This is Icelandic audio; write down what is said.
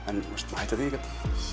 en maður hættir því ekkert